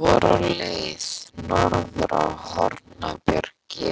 Þeir voru á leið norður á Hornbjarg í